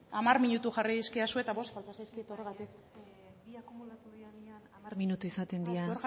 hamar minutu jarri dizkidazue eta bost falta zaizkit horregatik hamar minutu izaten dira